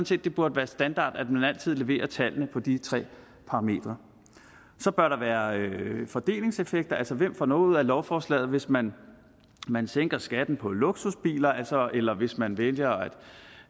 set det burde være standard at man altid leverer tallene på de tre parametre så bør der være fordelingseffekter altså hvem får noget ud af lovforslaget hvis man man sænker skatten på luksusbiler eller hvis man vælger